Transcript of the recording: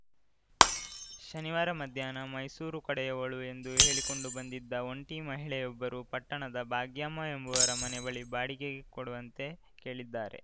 ಶನಿವಾರ ಮಧ್ಯಾಹ್ನ ಮೈಸೂರು ಕಡೆಯವಳು ಎಂದು ಹೇಳಿಕೊಂಡು ಬಂದಿದ್ದ ಒಂಟಿ ಮಹಿಳೆಯೊಬ್ಬರು ಪಟ್ಟಣದ ಭಾಗ್ಯಮ್ಮ ಎಂಬವರ ಬಳಿ ಮನೆ ಬಾಡಿಗೆಗೆ ಕೊಡುವಂತೆ ಕೇಳಿದ್ದಾರೆ